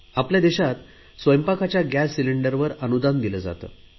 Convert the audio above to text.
आपल्या देशात स्वयंपाकाच्या गॅस सिलेंडरला अनुदान दिले जाते